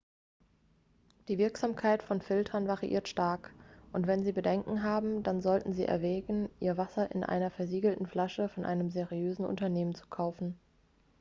die wirksamkeit von filtern variiert stark und wenn sie bedenken haben dann sollten sie erwägen ihr wasser in einer versiegelten flasche von einem seriösen unternehmen zu kaufen